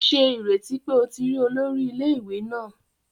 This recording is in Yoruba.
Ṣe ireti pe o ti ri olori ile-iwe naa